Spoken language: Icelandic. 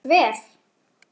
Það tókst vel.